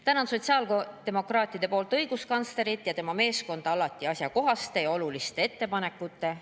Tänan sotsiaaldemokraatide nimel õiguskantslerit ja tema meeskonda alati asjakohaste ja oluliste ettepanekute eest!